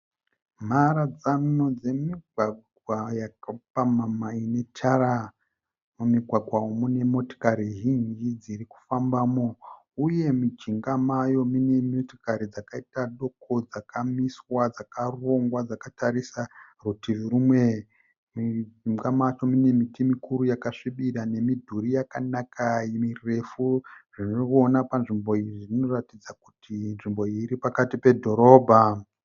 Mharadzano dzemigwagwa yakapamhama inetara. Mumigwagwa iyi mune motokari zhinji dzirikufambamo uye mujinga mayo mune motokari dzakaita doko dzakamiswa dzakarongwa dzakatarisa rutivi rumwe. Mujinga macho mune miti mikuru yakasvibira nemudhuri yakanaka mirefu zvinoonekwa panzvimbo iyi zvinoratidza kuti nzvimbo iyi iripakati pedhorobha.